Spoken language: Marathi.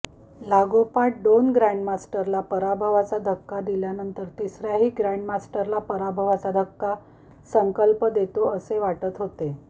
लागोपाठ दोन ग्रॅन्डमास्टरला पराभवाचा धक्का दिल्यानंतर तिसऱ्याही ग्रॅन्डमास्टरला पराभवाचा धक्का संकल्प देतो असे वाटत होते